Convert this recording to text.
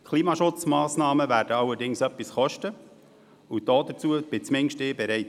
Klimaschutzmassnahmen werden allerdings etwas kosten, und dazu bin zumindest ich bereit.